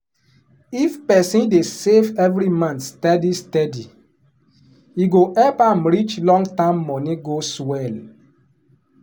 if person dey save every month steady steady e go help am reach long-term money goals well.